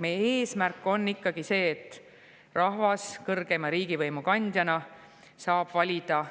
Meie eesmärk on ikkagi see, et rahvas kõrgeima riigivõimu kandjana saab valida